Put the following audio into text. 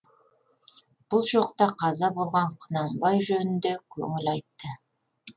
бұл жоқта қаза болған құнанбай жөнінде көңіл айтты